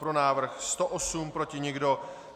Pro návrh 108, proti nikdo.